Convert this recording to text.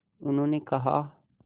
उन्होंने कहा